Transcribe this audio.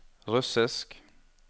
russisk